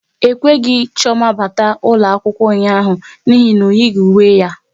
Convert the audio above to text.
E kweghị Chioma bata ụlọ akwụkwọ ụnyaahụ n'ihi na o yighi uwe ya